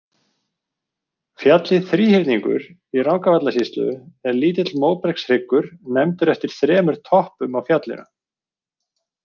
Fjallið Þríhyrningur í Rangárvallasýslu er lítill móbergshryggur nefndur eftir þremur toppum á fjallinu.